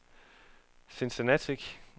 Cincinnati